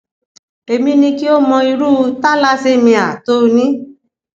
èmi ní kí o mọ irú thalassemia tó o ní